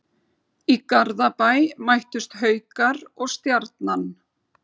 Í Garðabæ mættust Haukar og Stjarnan.